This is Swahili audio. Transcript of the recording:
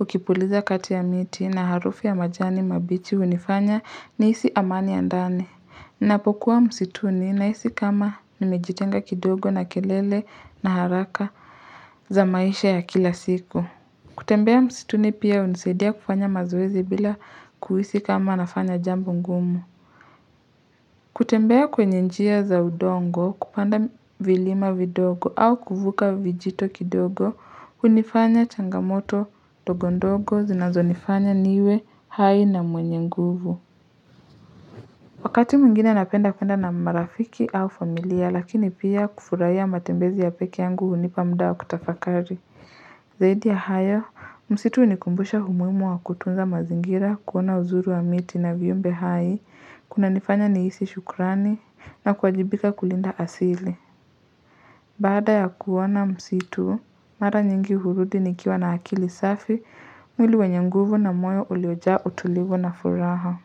ukipuliza kati ya miti na harufu ya majani mabichi unifanya ni isi amani ya ndani Napokuwa msituni nahisi kama nimejitenga kidogo na kelele na haraka za maisha ya kila siku. Kutembea msituni pia unisaidia kufanya mazoezi bila kuhisi kama nafanya jambo ngumu. Kutembea kwenye njia za udongo, kupanda vilima vidogo au kuvuka vijito kidogo, unifanya changamoto dogondogo zinazo nifanya niwe, hai na mwenye nguvu. Wakati mwingine napenda kwenda na marafiki au familia lakini pia kufurahia matembezi ya pekee yangu unipa muda wa kutafakari. Zaidi ya haya, msitu ni kumbusha humuimu wa kutunza mazingira kuona uzuru wa miti na viyumbe hai, kuna nifanya nihisi shukurani na kuajibika kulinda asili. Bada ya kuona msitu, mara nyingi hurudi ni kiwa na akili safi, mwili wanye nguvu na moyo ulioja utulivu na furaha.